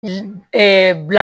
bila